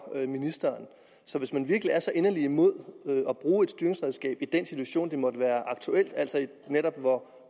ministeren så hvis man virkelig er så inderlig imod at bruge et styringsredskab i den situation det måtte være aktuelt altså netop hvor